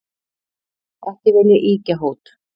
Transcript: Ekki vil ég ýkja hót,